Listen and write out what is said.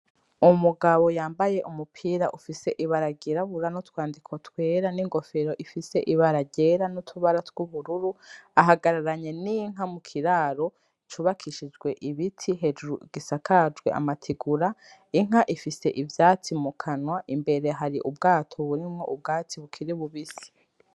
Umugabo yambaye umupira ufise ibara ry'irabura n'utwandiko twera n'ingofero ifise ibara ryera n'utubara tw'ubururu ahagararanye n'inka mu kiraro cubakishijwe ibiti hejuru gisakajwe amategura, inka ifise ivyatsi mu kanwa imbere hari ubwato burimwo ubwatsi bukiri bubisi.